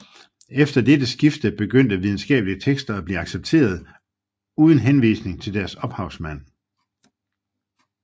Efter dette skifte begyndte videnskabelige tekster at blive accepteret uden henvisning til deres ophavsmænd